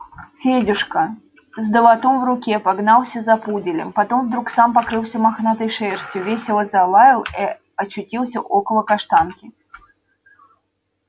федюшка с долотом в руке погнался за пуделем потом вдруг сам покрылся мохнатой шерстью весело залаял и очутился около каштанки